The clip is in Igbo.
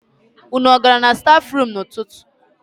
Unu gara na stafrum n'ụtụtụ?